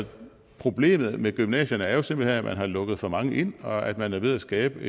problemet med gymnasierne er jo simpelt hen at man har lukket for mange ind og at man er ved at skabe